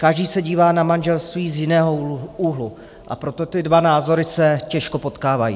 Každý se dívá na manželství z jiného úhlu, a proto ty dva názory se těžko potkávají.